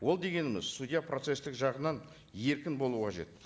ол дегеніміз судья процесстік жағынан еркін болу қажет